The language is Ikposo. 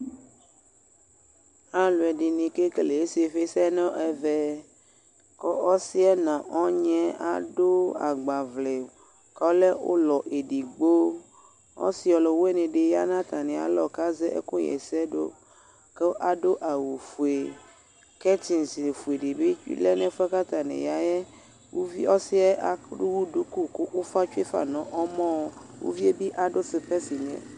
ɑluedini kɛkɛle isifisenɛmɛ ku ɔsie nu ɔnyi ɑdu ɑgbavle kɔle ulɔɛdigbo ɔsioluwinidi yɑ natamialɔ kɑze ɛkuhesedu ku ɑdu ɑwufue kɛtses fuedibi lɛnefue kɑtaniyae ɔsiye ɑduduku kufatsue nɔmɔ uviebi ɑdu sipesi